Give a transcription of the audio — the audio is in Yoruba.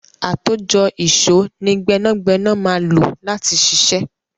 Àtòjọ ìṣó ni gbẹ́nàgbẹ́nà máa lò láti ṣiṣẹ́.